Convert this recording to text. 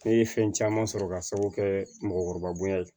Ne ye fɛn caman sɔrɔ ka sababu kɛ mɔgɔkɔrɔbabya ye